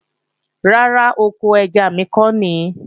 Rárá, oko ẹja mi ko nìí